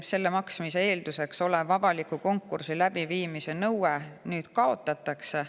Selle maksmise eelduseks olev avaliku konkursi läbiviimise nõue nüüd kaotatakse.